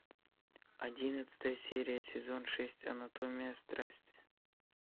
одиннадцатая серия сезон шесть анатомия страсти